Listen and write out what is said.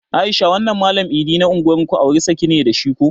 Aisha wannan mallam iIdi na unguwar ku auri saki ne da shi ko?